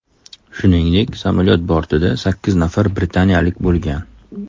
Shuningdek samolyot bortida sakkiz nafar britaniyalik bo‘lgan.